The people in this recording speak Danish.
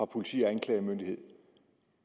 politi og anklagemyndighed